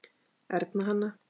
Erna Hanna.